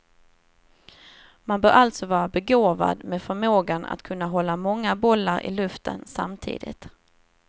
Man bör alltså vara begåvad med förmågan att kunna hålla många bollar i luften samtidigt.